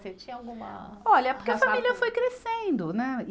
Você tinha alguma. Olha, porque a família foi crescendo, né?